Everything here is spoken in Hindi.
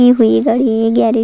हुई हुई गाड़ी गाड़ी --